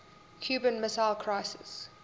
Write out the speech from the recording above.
cuban missile crisis